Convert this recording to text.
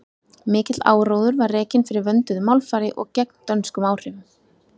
mikill áróður var rekinn fyrir vönduðu málfari og gegn dönskum áhrifum